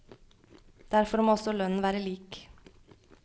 Derfor må også lønnen være lik.